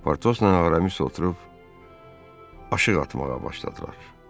Portosla Aramis oturub aşığ atmağa başladılar.